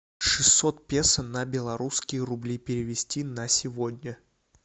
шестьсот песо на белорусские рубли перевести на сегодня